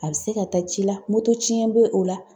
A bɛ se ka taa ci la; moto tiɲɛ bɛ o la.